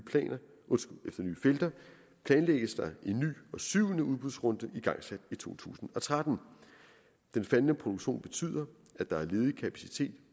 felter planlægges der en ny og syvende udbudsrunde igangsat i to tusind og tretten den faldende produktion betyder at der er ledig kapacitet